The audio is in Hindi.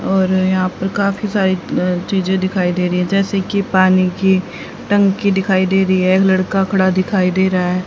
और यहा पर काफी सारी अ चीजे दिखाई दे रही है जैसे की पानी की टंकी दिखाई दे रही है लड़का खड़ा दिखाई दे रहा है।